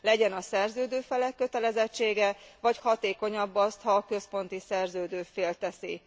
Legyen a szerződő felek kötelezettsége vagy hatékonyabb az, ha azt a központi szerződő fél teszi?